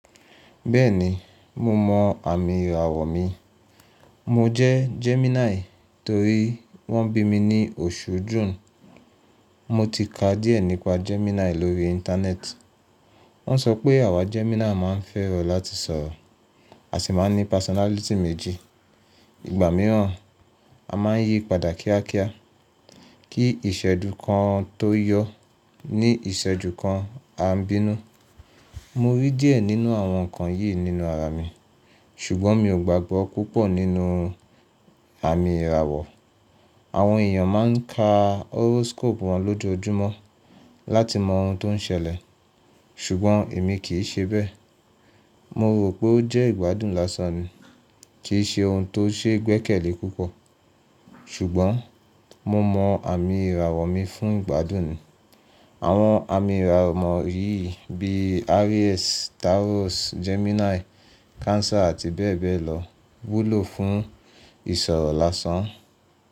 Bẹ́ẹ̀ni, mo mọ àmì ìràwọ̀ mi. Mo jẹ́ Gemini torí wọ́n bí mi ní oṣù June. Mo ti kà díẹ̀ nípa Gemini lórí íńtánẹ́ẹ̀tì. Wọ́n sọ pé àwà Gemini máa ń fẹ́ràn láti sọ̀rọ̀, a sì máa ń ní pásọ́nálìtì méjì. Ìgbà mìíràn a máa ń yí padà kíákíá, kí iṣẹ́dú kan tó yọ ní ìṣẹ́dú kan a ń bínú. Mo rí díẹ̀ nínú àwọn nǹkan yìí nínú ara mi, ṣùgbọ́n mi ò gbàgbọ́ púpọ̀ nínú àmì ìràwọ̀. Àwọn èèyàn máa ń ka horoscope wọn lójoojúmọ́ láti mọ oun tó ń ṣẹlẹ̀, ṣùgbọ́n èmi kì í ṣe bẹ́ẹ̀. Mo rò pé ó jẹ́ ìgbádùn lásán ni, kì í ṣe oun tó ṣe gbẹ́kẹ̀lé púpọ̀. Ṣùgbọ́n mo mọ àmì ìràwọ̀ mi fún ìgbádùn ni. Àwọn àmì ìràwọ̀ mọ́rí bí i Aries, Taurus, Gemini, Cancer àti bẹ́ẹ̀ bẹ́ẹ̀ lọ wúlò fún ìṣòro lásán.